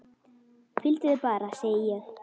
Hvíldu þig bara, segi ég.